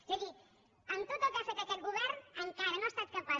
és a dir amb tot el que ha fet aquest govern encara no ha estat capaç